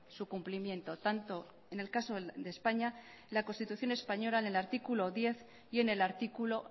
su cumplimiento tanto en el caso de españa la constitución española en el artículo diez y en el artículo